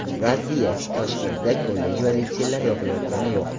Raddiya: Toshkentda kollej va litseylar yopilayotgani yo‘q.